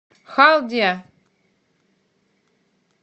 халдия